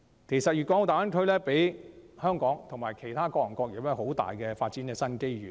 其實，大灣區為香港其他各行各業也帶來很大的發展新機遇。